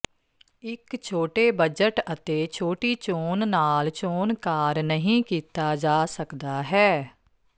ਇੱਕ ਛੋਟੇ ਬਜਟ ਅਤੇ ਛੋਟੀ ਚੋਣ ਨਾਲ ਚੋਣਕਾਰ ਨਹੀ ਕੀਤਾ ਜਾ ਸਕਦਾ ਹੈ